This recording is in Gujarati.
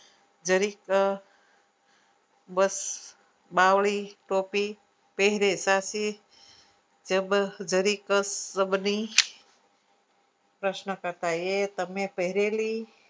જેની અ બસ બાવળી ટોપી પેહરે સાથ પ્રશ્ન કરતા એ ને પહરેલી